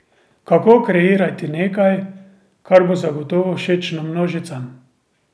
Kako kreirati nekaj, kar bo zagotovo všečno množicam?